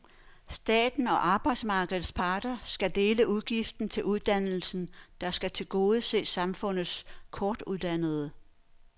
Staten og arbejdsmarkedets parter skal dele udgiften til uddannelsen, der skal tilgodese samfundets kortuddannede.